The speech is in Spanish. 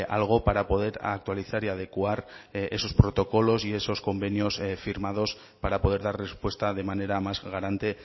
algo para poder actualizar y adecuar esos protocolos y esos convenios firmados para poder dar respuesta de manera más garante